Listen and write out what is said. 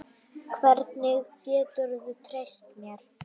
Hvernig geturðu treyst mér?